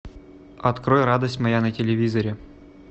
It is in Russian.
открой радость моя на телевизоре